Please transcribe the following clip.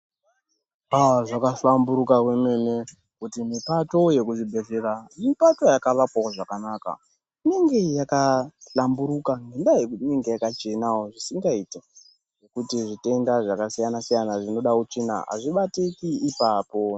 Aa zvakahlamburuka kwemene kuti mipato yekuzvibhedhlera mipato yakawakwavo zvakanaka. Inenge yakahlambiruka ngendaa yekuti inenge yakachenavo zvisingaiti. Ngekuti zvitenda zvakasiyana-siyana zvinoda utsvina hazvibatiki ipapo.